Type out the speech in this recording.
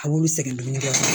A b'olu sɛgɛn dumuni kɛ